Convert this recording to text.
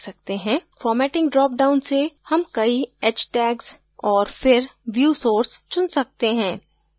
formatting drop down से हम कई h tags और फिर view source चुन सकते हैं